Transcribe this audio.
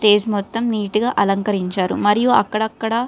stage మొత్తం neat గా అలంకరించారు మరియు అక్కడక్కడ''''